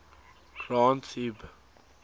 granth hib